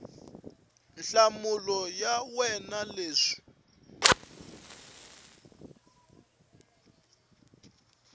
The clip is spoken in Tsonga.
nhlamulo ya wena hi leswi